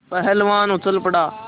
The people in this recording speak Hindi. पहलवान उछल पड़ा